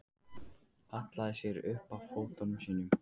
Hallaði sér upp að fötunum sínum.